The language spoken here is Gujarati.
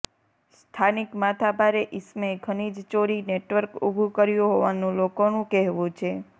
સ્થાનિક માથાભારે ઇસમે ખનીજ ચોરી નેટવર્ક ઉભુ કર્યુ હોવાનુ લોકોનુ કહેવુ છે